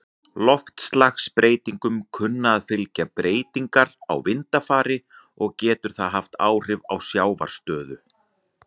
Loftslagsbreytingum kunna að fylgja breytingar á vindafari, og getur það haft áhrif á sjávarstöðu.